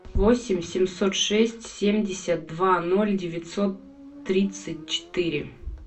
восемь семьсот шесть семьдесят два ноль девятьсот тридцать четыре